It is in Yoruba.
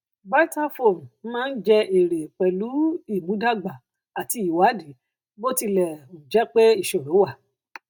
vitafoam máa ń jẹ èrè pẹlú ìmúdàgba àti ìwádìí bó tilẹ um jẹ pé ìṣòro wà